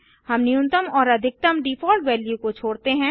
हम न्यूनतम और अधिकतम डिफॉल्ट वैल्यू को छोडते हैं